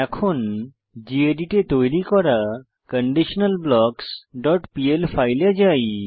এখন গেদিত এ তৈরী করা conditionalblocksপিএল ফাইলে যাই